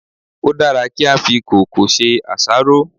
Ó dára kí á fi kòókòó ṣe àṣáró.